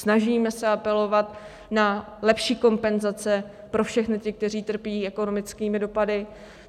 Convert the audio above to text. Snažíme se apelovat na lepší kompenzace pro všechny ty, kteří trpí ekonomickými dopady.